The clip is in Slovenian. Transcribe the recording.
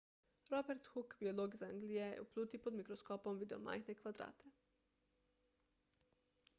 robert hooke biolog iz anglije je v pluti pod mikroskopom videl majhne kvadrate